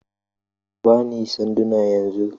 Ka ba ni sanduna yanzu!